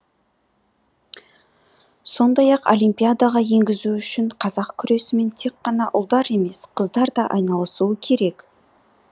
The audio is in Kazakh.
сондай ақ олимпиадаға енгізу үшін қазақ күресімен тек қана ұлдар емес қыздар да айналысуы керек